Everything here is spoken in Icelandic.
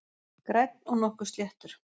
Grænn og nokkuð sléttur